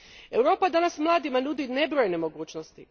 Europa danas mladima nudi nebrojene mogućnosti.